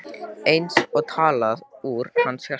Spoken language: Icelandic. Eins og talað úr hans hjarta.